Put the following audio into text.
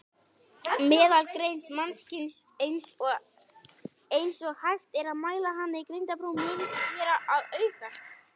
Meðalgreind mannkyns, eins og hægt er að mæla hana í greindarprófum, virðist vera að aukast.